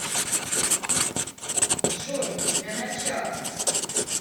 джой для начала